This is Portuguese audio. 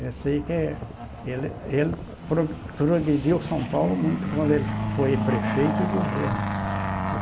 Esse aí que é... Ele ele pro progrediu São Paulo muito quando ele foi prefeito e governo.